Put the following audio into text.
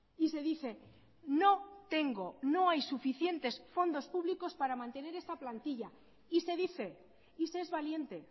y se dice no tengo no hay suficientes fondos públicos para mantener esta plantilla y se dice y se es valiente